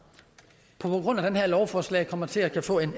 på grund af det her lovforslag kommer til at få en